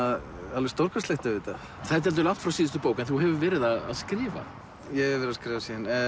alveg stórkostlegt auðvitað það er dálítið langt frá síðustu bók en þú hefur verið að skrifa ég hef verið að skrifa